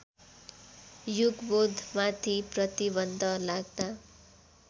युगबोधमाथि प्रतिबन्ध लाग्दा